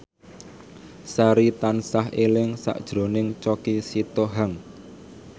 Sari tansah eling sakjroning Choky Sitohang